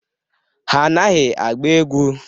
Ha anaghị agba egwu.